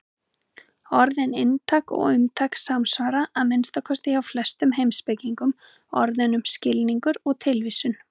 Orðin inntak og umtak samsvara, að minnsta kosti hjá flestum heimspekingum, orðunum skilningur og tilvísun.